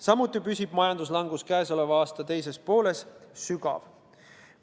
Samuti püsib majanduslangus käesoleva aasta teises pooles sügav.